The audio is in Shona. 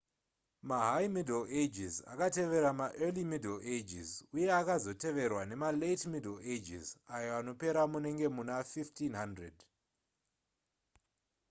mahigh middle ages akatevera maearly middle ages uye akazoteverwa nemalate middle ages ayo anoperera munenge muna 1500